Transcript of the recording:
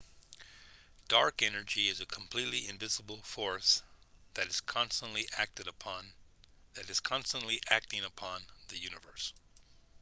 dark energy is a completely invisible force that is constantly acting upon the universe